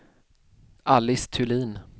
Alice Thulin